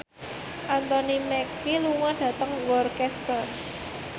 Anthony Mackie lunga dhateng Worcester